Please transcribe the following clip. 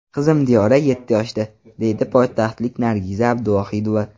Qizim Diyora yetti yoshda, deydi poytaxtlik Nargiza Abduvohidova.